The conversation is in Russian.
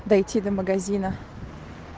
дойти до магазина